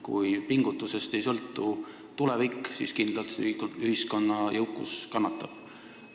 Kui pingutusest ei sõltu tulevik, siis kindlalt ühiskonna jõukus kannatab.